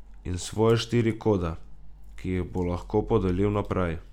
In svoje štiri kode, ki jih bo lahko podelil naprej.